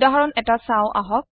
উদাহৰণ এটা চাওঁ আহক